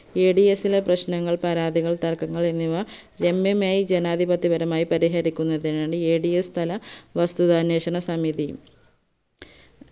ads ലെ പ്രശ്നങ്ങൾ പരാതികൾ തർക്കങ്ങൾ എന്നിവ രമ്യമായി ജനാധിപത്യപരമായി പരിഹരിക്കുന്നതിന് Ads തല വസ്തുതാന്വേഷണസമിതി